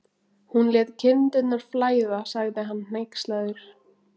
Hún lét kindurnar flæða, sagði hann hneykslaður.